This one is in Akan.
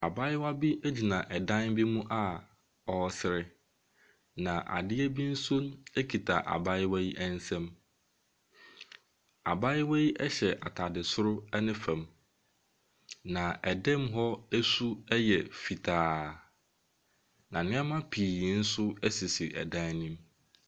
Abaayewa bi egyina ɛdan bi mu a ɔresre na adeɛ bi nso ekita abaayewa yi ɛnsɛm. Abaayewa yi ɛhyɛ ataade soro ɛne fɛm na ɛdɛm hɔ esu ɛyɛ fitaa. Na nneɛma pii ɛnso sisi ɛdan no mu.